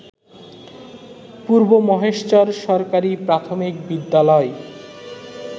পূর্ব মহেশচর সরকারি প্রাথমিক বিদ্যালয়